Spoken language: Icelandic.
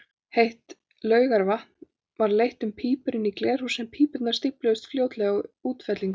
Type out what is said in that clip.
Heitt laugavatn var leitt um pípur inn í glerhús, en pípurnar stífluðust fljótlega af útfellingum.